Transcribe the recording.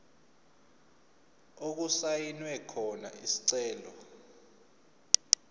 okusayinwe khona isicelo